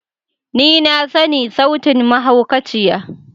Ni na sani sautin mahaukaciya.